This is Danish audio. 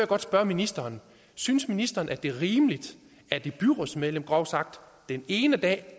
godt spørge ministeren synes ministeren at det er rimeligt at et byrådsmedlem groft sagt den ene dag